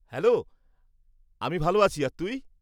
Hello, আমি ভালো আছি আর তুই?